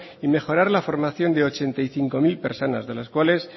y mejorar la formación de ochenta y cinco mil personas de las cuales